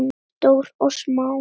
Stórt og smátt.